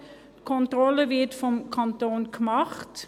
Die Kontrolle wird durch den Kanton gemacht.